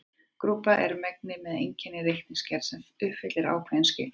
Grúpa er mengi með einni reikniaðgerð sem uppfyllir ákveðin skilyrði.